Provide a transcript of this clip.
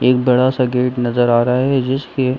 एक बड़ा-सा गेट नजर आ रहा है जिसके --